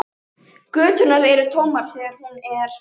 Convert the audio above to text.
Göturnar eru tómar þegar hún er.